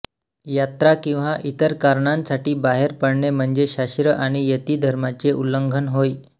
यात्रा किंवा इतर कारणांसाठी बाहेर पडणे म्हणजे शास्त्र आणि यती धर्माचे उल्लंघन होय